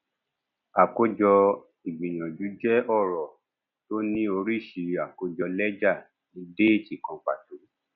àkójọ ìgbìyànjú jẹ ọrọ tó ní oríṣi àkójọ lẹjà ní déètì kan pàtó